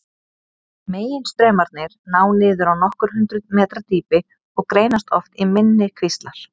Meginstraumarnir ná niður á nokkur hundruð metra dýpi og greinast oft í minni kvíslar.